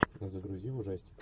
загрузи ужастик